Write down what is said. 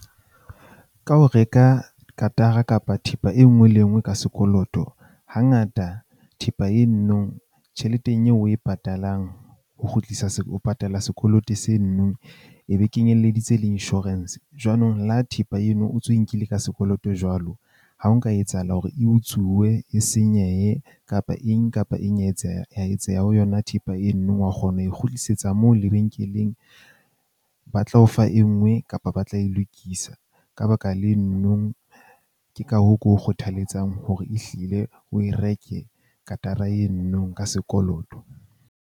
Ka ho reka katara kapa thepa e nngwe le e nngwe ka sekoloto, hangata thepa e nno tjheleteng eo o e patalang ho kgutlisa ho patala sekoloto se nnwe e be kenyelleditse le insurance. Jwanong le ha thepa eno o ntso e nkile ka sekoloto jwalo. Ha o nka etsahala hore e utsuwe, e senyehe kapa eng kapa eng etseya etseha ho yona thepa e nno wa kgona ho e kgutlisetsa moo lebenkeleng. Ba tla o fa e nngwe kapa ba tla e lokisa ka baka le nno, ke ka hoo ke o kgothaletsang hore ehlile o e reke katara eno nong ka sekoloto.